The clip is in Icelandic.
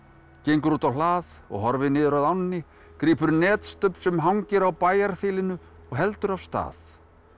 gengur út á hlað og horfir niður að ánni grípur sem hangir á og heldur af stað